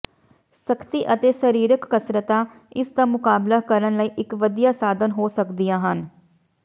ਸਖਤੀ ਅਤੇ ਸਰੀਰਕ ਕਸਰਤਾਂ ਇਸ ਦਾ ਮੁਕਾਬਲਾ ਕਰਨ ਲਈ ਇਕ ਵਧੀਆ ਸਾਧਨ ਹੋ ਸਕਦੀਆਂ ਹਨ